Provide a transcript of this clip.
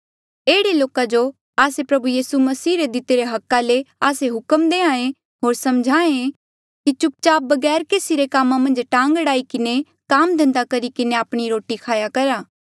एह्ड़े लोका जो आस्से प्रभु यीसू मसीह रे दितिरे हका ले आस्से हुक्म देहां ऐें होर सम्झाहें कि चुप चाप बगैर केसी रे कामा मन्झ टांग अड़ाई किन्हें काम धन्धा करी किन्हें आपणी रोटी खाया करहे